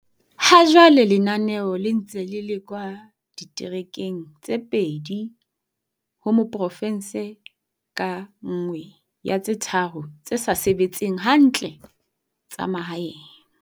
Hajwale lenaneo le ntse le lekwa diterekeng tse pedi ho porofense ka nngwe ya tse tharo tse sa sebetseng hantle tsa mahaeng.